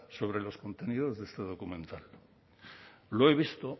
sobre los contenidos de este documental lo he visto